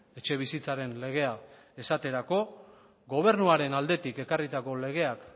etxebizitzaren legea esaterako gobernuaren aldetik ekarritako legeak